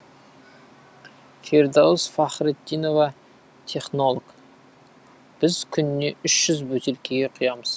фирдаус фахритдинова технолог біз күніне үш жүз бөтелкеге құямыз